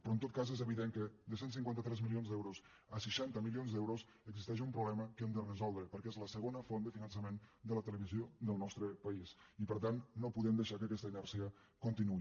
però en tot cas és evident que de cent i cinquanta tres milions d’euros a seixanta milions d’euros existeix un problema que hem de resoldre perquè és la segona font de finançament de la televisió del nostre país i per tant no podem deixar que aquesta inèrcia continuï